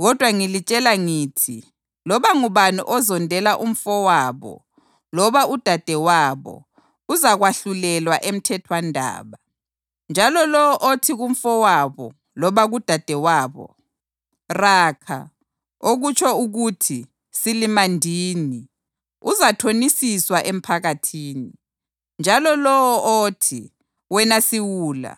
Kodwa ngilitshela ngithi loba ngubani ozondela umfowabo loba udadewabo uzakwahlulelwa emthethwandaba. Njalo lowo othi kumfowabo loba kudadewabo, ‘\+tl Raca\+tl*,’ okutsho ukuthi ‘Silimandini,’ uzathonisiswa emphakathini. Njalo lowo othi, ‘Wena siwula!’